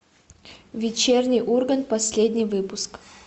вечерний ургант последний выпуск